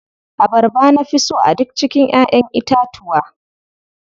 Abarba na fi so a duk cikin ƴaʼƴen itatuwa.